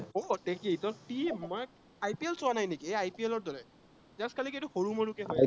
দিব, ত কি team মানে IPL চোৱা নাই নেকি সেই IPL ৰ দৰে just খালি এইটো কি সৰু মৰু কে